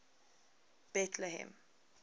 betlehem